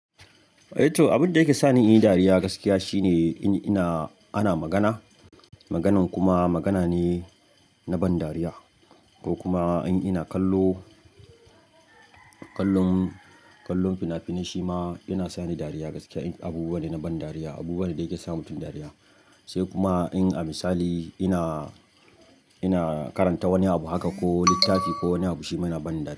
Toh, abin da yake sa ni in yi dariya gaskiya shine in ina ana magana. Maganan kuma magana ne na ban dariya ko kuma in ina kallo. Kallon, kallon fina-finai shi ma yana sa ni dariya gaskiya. Abubuwa ne na ban dariya, abubuwan da yake sa mutum dariya. Sai kuma in a misali ina, ina karanta wani abu haka ko littafi ko wani abu shima yana ban dariya.